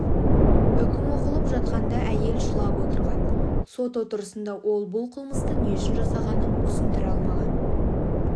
үкім оқылып жатқанда әйел жылап отырған сот отырысында ол бұл қылмысты не үшін жасағанын түсіндіре алмаған